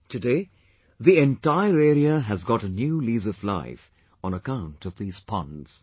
Today, the entire area has got a new lease of life on account of these ponds